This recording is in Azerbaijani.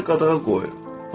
Həkimlər qadağa qoyur.